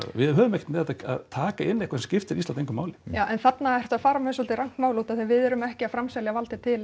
við höfum ekkert með þetta að taka inn eitthvað sem skiptir Ísland engu máli já en þarna ertu að fara með svolítið rangt mál út af því að við erum ekki að framselja valdið til